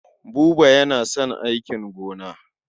Buba yana son aikin gona.